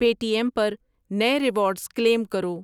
پے T M پر نئے rewards claim کرو۔